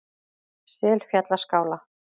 Selfjallaskála